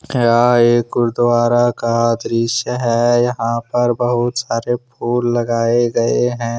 यह एक गुरुद्वारा का दृश्य है यहाँ पर बहुत सारे फूल लगाए गए है।